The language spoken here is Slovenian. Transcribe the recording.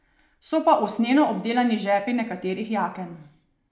So pa usnjeno obdelani žepi nekaterih jaken.